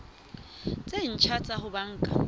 tse ntjha tsa ho banka